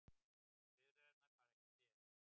Bifreiðarnar fara ekki fet